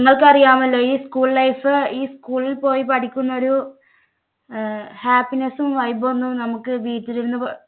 നിങ്ങൾക്കറിയാമല്ലോ ഈ school life ഈ school ൽ പോയി പഠിക്കുന്ന ഒരു അഹ് happiness ഉം vibe ഒന്നും നമുക്ക് വീട്ടിലിരുന്ന് പ